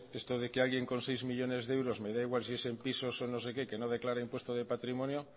de que alguien con seis millónes de euros me da igual si es en pisos o no sé qué que no declaren impuesto de patrimonio